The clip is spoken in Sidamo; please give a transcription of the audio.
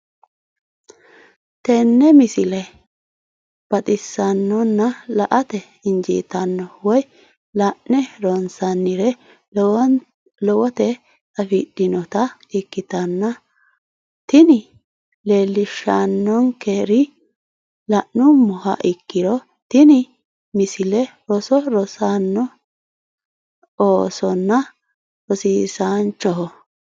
tenne misile baxisannonna la"ate injiitanno woy la'ne ronsannire lowote afidhinota ikkitanna tini leellishshannonkeri la'nummoha ikkiro tini misile roso rossanno noo oosonna rosiisaanchoho.